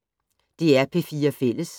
DR P4 Fælles